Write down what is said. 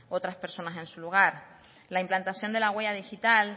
personas en su lugar la implantación de la huella digital